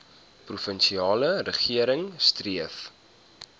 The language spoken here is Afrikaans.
provinsiale regering streef